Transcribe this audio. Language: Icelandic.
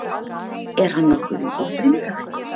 Er hann nokkuð í útrýmingarhættu?